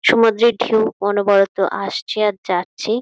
সমুদ্রের ঢেউ অনবরত আসছে আর যাচ্ছে |.